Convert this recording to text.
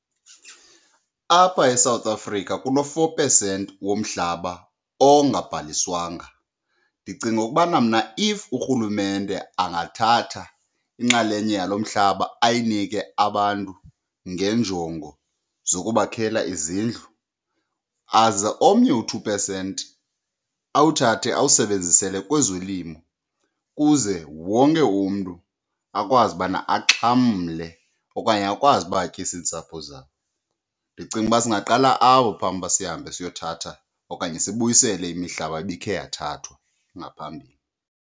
Apha eMzantsi Afrika kulo four percent womhlaba ongabhaliswanga ndicinga ukubana mna if urhulumente angathatha inxalenye yalo mhlaba ayinike abantu ngeenjongo zokubakhela izindlu, aze omnye u-two percent awuthathe awusebenzisele kwezolimo kuze wonke umntu akwazi ubana axhamle okanye akwazi uba atyise iintsapho zabo. Ndicinga uba singaqala apho phambi uba sihambe siyothatha okanye sibuyisele imihlaba ibikhe yathathwa ngaphambili.